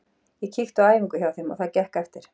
Ég kíkti á æfingu hjá þeim og það gekk eftir.